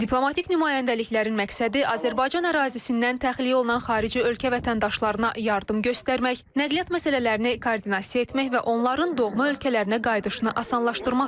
Diplomatik nümayəndəliklərin məqsədi Azərbaycan ərazisindən təxliyə olunan xarici ölkə vətəndaşlarına yardım göstərmək, nəqliyyat məsələlərini koordinasiya etmək və onların doğma ölkələrinə qayıdışını asanlaşdırmaqdır.